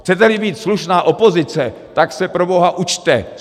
Chcete-li být slušná opozice, tak se proboha učte!